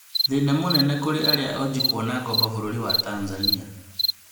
Thĩna mũnene kũrĩ arĩa onju kwona ngombo bũrũri wa Tanzania